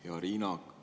Hea Riina!